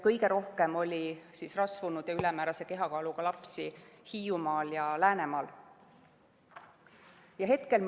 Kõige rohkem oli rasvunud või ülemäärase kehakaaluga lapsi Hiiumaal ja Läänemaal.